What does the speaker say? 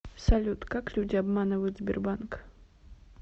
салют как люди обманывают сбербанк